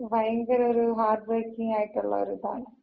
ഭയങ്കര ഒര് heartbreaking ആയിട്ടുള്ളൊര് ഇതാണ്.